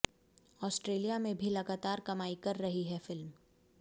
Australia में भी लगातार कमाई कर रही है फिल्म